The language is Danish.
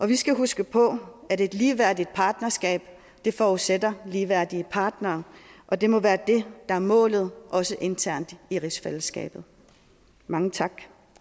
vi skal huske på at et ligeværdigt partnerskab forudsætter ligeværdige partnere og det må være det der er målet også internt i rigsfællesskabet mange tak